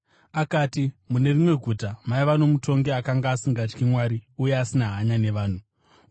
Akati, “Mune rimwe guta maiva nomutongi akanga asingatyi Mwari uye asina hanya navanhu.